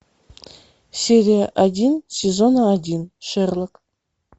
серия один сезона один шерлок